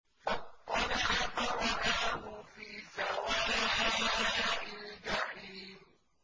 فَاطَّلَعَ فَرَآهُ فِي سَوَاءِ الْجَحِيمِ